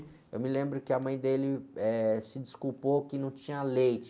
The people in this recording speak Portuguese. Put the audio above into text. Eu me lembro que a mãe dele, eh, se desculpou que não tinha leite.